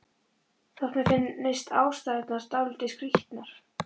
Þótt mér finnist ástæðurnar dálítið skrítnar.